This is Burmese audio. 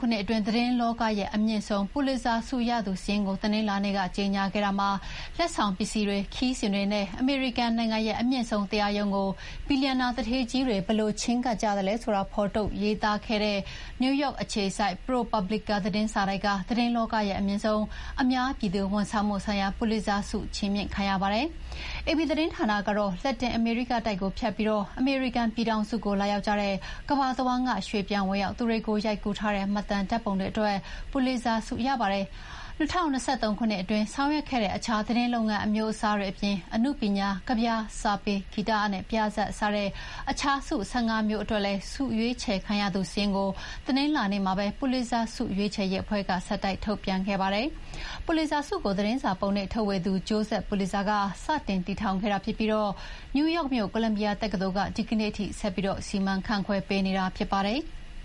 ခုနှစ်အတွင်း သတင်းလောကရဲ့အမြင့်ဆုံး ပူလစ်ဇာဆုရသူစာရင်းကို တနင်္လာနေ့က ကြေညာခဲ့ပါတယ်။ လက်ဆောင်ပစ္စည်းတွေ၊ ခရီးစဥ်တွေနဲ့ အမေရိကန်နိုင်ငံရဲ့ အမြင့်ဆုံးတရားရုံးကို ဘီလီယံနာသူဌေးကြီးတွေ ဘယ်လိုချဥ်းကပ်ကြသလဲဆိုတာ ဖော်ထုတ်ရေးသားခဲ့တဲ့ နယူးယောက်အခြေစိုက် ProPublica သတင်းစာတိုက်က သတင်းလောကရဲ့အမြင့်ဆုံး အများပြည်သူဝန်ဆောင်မှုဆိုင်ရာ ပူလစ်ဇာဆုချီးမြှင့်ခံရပါတယ်။ AP သတင်းဌာနကတော့ လက်တင်အမေရိကတိုက်ကိုဖြတ်ပြီး အမေရိကန် ပြည်ထောင်စုကို လာရောက်ကြတဲ့ ကမ္ဘာတဝန်းက ရွှေ့ပြောင်းဝင်ရောက်သူတွေကို ရိုက်ကူးထားတဲ့ မှတ်တမ်းဓာတ်ပုံတွေအတွက် ပူလစ်ဇာဆု ရပါတယ်။ ၂၀၂၃ ခုနှစ်အတွင်း ဆောင်ရွက်ခဲ့တဲ့ အခြားသတင်းလုပ်ငန်းအမျိုးအစားတွေအပြင် အနုပညာ၊ ကဗျာ၊ စာပေ၊ ဂီတနဲ့ ပြဇာတ် စတဲ့ အခြားဆု ၁၅ ခုအတွက် ဆုရွေးချယ်ခံရသူစာရင်းကိုလည်း တနင်္လာနေ့မှာပဲ ပူလစ်ဇာဆုရွေးချယ်ရေးအဖွဲ့က ဆက်တိုက်ထုတ်ပြန်ခဲ့ပါတယ်။ ပူလစ်ဇာဆုကို သတင်းစာပုံနှိပ်ထုတ်ဝေသူ Joseph Pulitzer က စတင်တည်ထောင်ခဲ့တာဖြစ်ပြီး နယူးယောက်မြို့ ကိုလံဘီယာတက္ကသိုလ်က ဒီကနေ့ထိ ဆက်ပြီးစီမံခန့်ခွဲနေတာဖြစ်ပါတယ်။